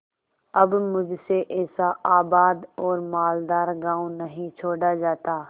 अब मुझसे ऐसा आबाद और मालदार गॉँव नहीं छोड़ा जाता